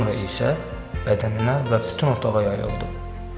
Sonra isə bədəninə və bütün otağa yayıldı.